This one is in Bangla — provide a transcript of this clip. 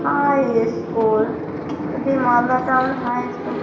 হাআই ই-স্কুল এটি মালদা টাউন হাই ই-স্কুল ।